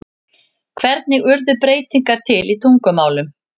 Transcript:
Hvernig urðu beygingar til í tungumálum?